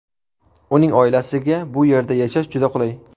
Uning oilasiga bu yerda yashash juda qulay.